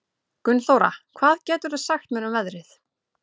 Gunnþóra, hvað geturðu sagt mér um veðrið?